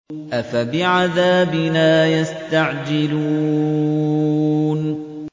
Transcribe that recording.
أَفَبِعَذَابِنَا يَسْتَعْجِلُونَ